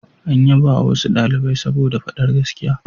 An yabawa wasu ɗalibai saboda faɗar gaskiya.